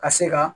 Ka se ka